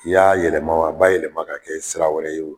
N'i y'a yɛlɛma, a ba yɛlɛma ka kɛ sira wɛrɛ ye o